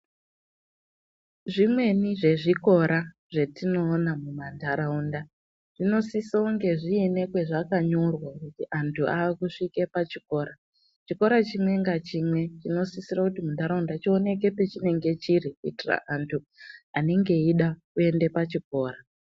Zvimweni zvezvikora zvetinoona mumantaraunda zvinosise kunge zviine pazvakanyorwa kuti anthu akusvike pachikora, chikora chimwe ngachimwe chinosisire kuti muntaraunda chioneke pachinenge chiri kuitira kuti anthu anenge eida kuenda pachikora.